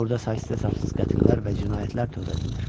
Burada saysız-hesabsız qətillər və cinayətlər törədilir.